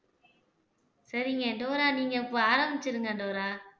சரிங்க டோரா நீங்க இப்ப ஆரம்பிச்சிடுங்க டோரா